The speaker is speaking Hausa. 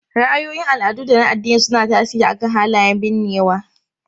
Ra'ayoyin al'adu da na addini suna tasiri akan halayen binnewa.